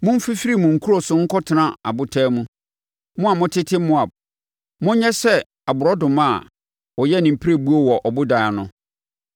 Monfifiri mo nkuro so nkɔtena abotan mu, mo a motete Moab. Monyɛ sɛ aborɔnoma a ɔyɛ ne pirebuo wɔ ɔbodan ano.